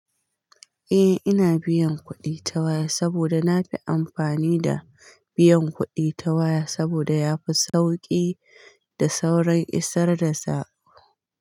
Eh ina biyan kuɗi ta waya saboda na fi amfani da biyan kuɗi ta waya saboda yafi sauƙi da saurin isar da sa.